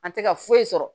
An tɛ ka foyi sɔrɔ